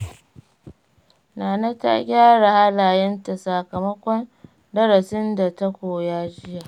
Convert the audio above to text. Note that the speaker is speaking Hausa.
Nana ta gyara halayenta, sakamakon darasin da ta koya jiya.